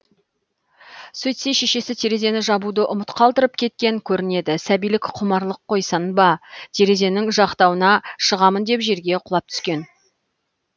сөйтсе шешесі терезені жабуды ұмыт қалдырып кеткен көрінеді сәбилік құмарлық қойсын ба терезенің жақтауына шығамын деп жерге құлап түскен